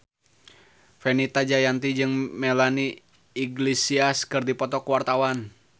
Fenita Jayanti jeung Melanie Iglesias keur dipoto ku wartawan